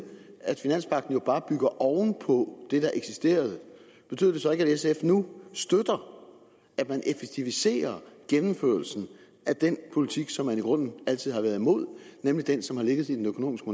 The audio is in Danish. at finanspagten jo bare bygger oven på det der eksisterede betyder det så ikke at sf nu støtter at man effektiviserer gennemførelsen af den politik som man i grunden altid har været imod nemlig den som har ligget i den økonomiske